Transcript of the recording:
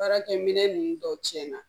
Baarakɛ minɛn ninnu dɔw cɛnna